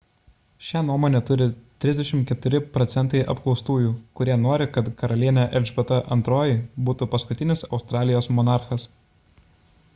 šią nuomonę turi 34 procentai apklaustųjų kurie nori kad karalienė elžbieta ii būtų paskutinis australijos monarchas